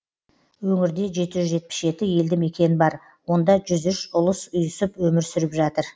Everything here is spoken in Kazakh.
өңірде жеті жүз жетпіс жеті елді мекен бар онда жүз үш ұлыс ұйысып өмір сүріп жатыр